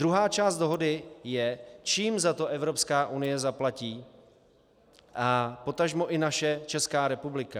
Druhá část dohody je, čím za to Evropská unie zaplatí a potažmo i naše Česká republika.